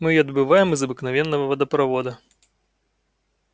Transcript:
мы её добываем из обыкновенного водопровода